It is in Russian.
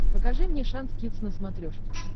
покажи мне шант кидс на смотрешке